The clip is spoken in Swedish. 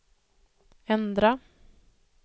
ändra